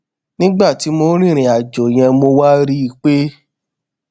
nígbà tí mò ń rìnrìn àjò yẹn mo wa ri i pe